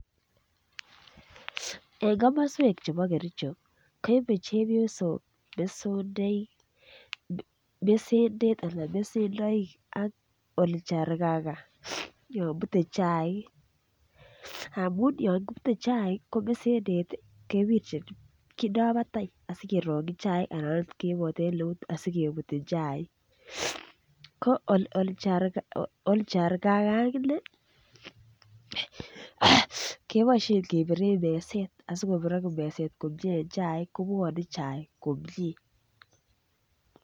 En komoswek chebo kericho koibe chepyosok mesondoik ak olchargaga yon kibute chaik amun yon kibute chaik ko mesendet kewirchin batai asi kewirchin chaik anan okot okot keiboten eut asi kebutyin chaik ko olchargaga aginee keboisien kebiren meset asi kobirok meset komie en chaik kobwone chaik komie